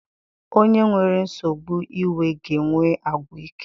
Onye nwere nsogbu iwe ga-enwe àgwà ike.